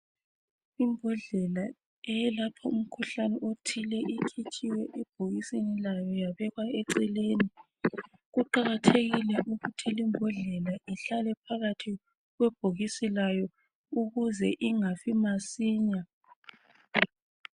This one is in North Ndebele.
Imbodlela eyelapha umkhuhlane othile, mikhitshiwe ebhokisini layo, yabekwa eceleni. Kuqakathekile ukuthi limbodlela, ihlale phakathi kwebhokisi layo, ukuze ingafi masinya.